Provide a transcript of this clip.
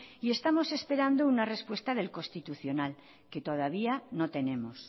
y estamos esperando una respuesta del constitucional que todavía no tenemos